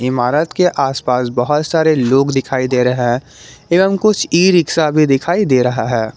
इमारत के आसपास बहुत सारे लोग दिखाई दे रहे हैं एवं कुछ ई रिक्शा भी दिखाई दे रहा है।